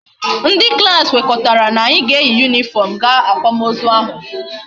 Ndi klas kwekoritara na anyi ga eyi uwe uniform ga akwam ozu ahu